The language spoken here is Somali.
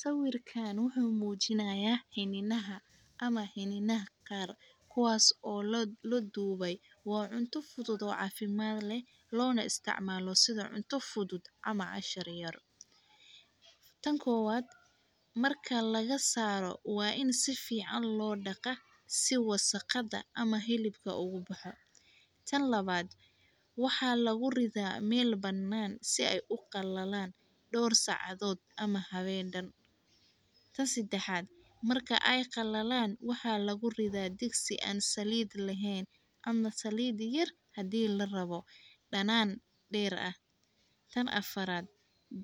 Sawirkaan wuxuu muujinayaa xinninaha ama xinninaha qaar kuwaas oo lo loo duubay. Waa cunto fudud oo caafimaad leh loona isticmaalo sida cunto fudud ama cashar yar. Tan koowaad, marka laga saaro waa in si fiican loo dhaqa si wasakhada ama helibka ugu baxa. Tan labaad waxaa lagu ridaa meel bannaan si ay u qallalaan dhawr socodod ama haweeydan. Ta sidxaad, marka ay qallalaan waxaa lagu ridaa dig si aan saliid laheyn cuna saliidi yar haddii la rabo dhanaan dheer ah. Tan afaraad,